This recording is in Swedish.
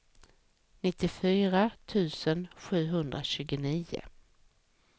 nittiofyra tusen sjuhundratjugonio